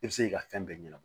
I bɛ se k'i ka fɛn bɛɛ ɲɛnabɔ